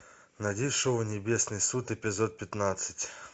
найди шоу небесный суд эпизод пятнадцать